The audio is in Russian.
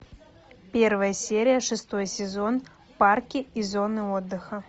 первая серия шестой сезон парки и зоны отдыха